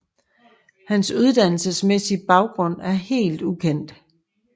Hans uddannelsesmæssige baggrund er helt ukendt